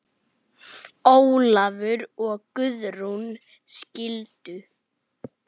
Ólafur og Guðrún skildu.